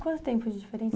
Quanto tempo de diferença?